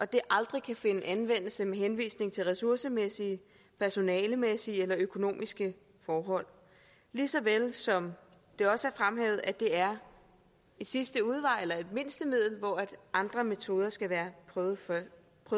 det aldrig kan finde anvendelse med henvisning til ressourcemæssige personalemæssige eller økonomiske forhold lige så vel som det også er fremhævet at det er en sidste udvej eller et mindstemiddel og at andre metoder skal være prøvet først